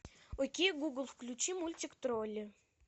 окей гугл включи мультик тролли